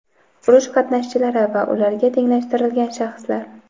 urush qatnashchilari va ularga tenglashtirilgan shaxslar;.